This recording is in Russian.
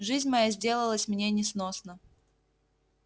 жизнь моя сделалась мне несносна